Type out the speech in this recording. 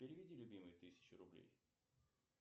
переведи любимой тысячу рублей